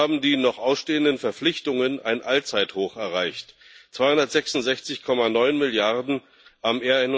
So haben die noch ausstehenden Verpflichtungen ein Allzeithoch erreicht 266,9 Milliarden am